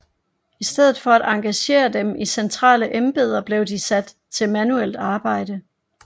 I stedet for at engagere dem i centrale embeder blev de sat til manuelt arbejde